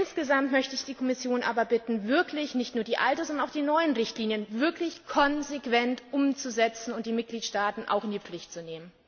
Insgesamt möchte ich die Kommission aber bitten, nicht nur die alte, sondern auch die neuen Richtlinien wirklich konsequent umzusetzen und die Mitgliedstaaten auch in die Pflicht zu nehmen.